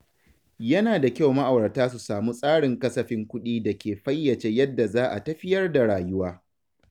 Yana da kyau ma’aurata su samu tsarin kasafin kuɗi da ke fayyace yadda za a tafiyar da rayuwa.